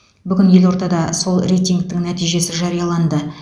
бүгін елордада сол рейтингтің нәтижесі жарияланды